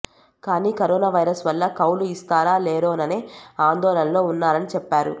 కానీ corona virus వల్ల కౌలు ఇస్తారా లేరోననే ఆందోళనలో ఉన్నారని చెప్పారు